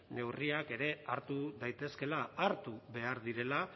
neurriak ere hartu daitezkeela hartu behar direla